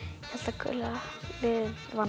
gula liðið